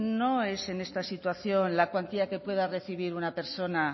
no es en esta situación la cuantía que pueda recibir una persona